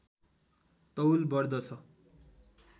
तौल बढ्दछ